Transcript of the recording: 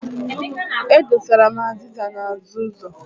E dosara m azịza n'azụ ụzọ.